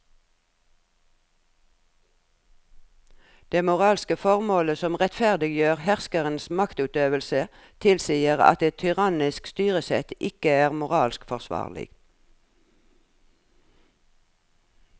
Det moralske formålet som rettferdiggjør herskerens maktutøvelse tilsier at et tyrannisk styresett ikke er moralsk forsvarlig.